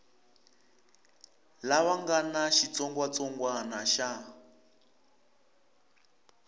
lava nga na xitsongwatsongwana xa